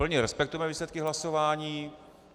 Plně respektujeme výsledky hlasování.